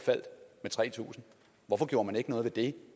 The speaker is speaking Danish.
med tre tusind hvorfor gjorde man ikke noget ved det